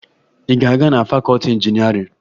Ị ga-aga na fakọọti injinịarịn?